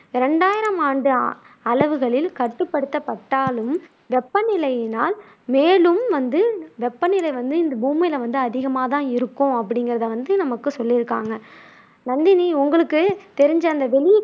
ரெண்டாயிரம் ஆண்டு அளவுகளில் கட்டுப்படுத்தப்பட்டாலும் வெப்பநிலையினால் மேலும் வந்து வெப்பநிலை வந்து இந்த பூமியில வந்து அதிகமா தான் இருக்கும் அப்படிங்குறதை வந்து நமக்கு சொல்லியிருக்காங்க நந்தினி உங்களுக்கு தெரிஞ்ச அந்த வெளி